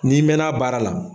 Ni mɛnna baara la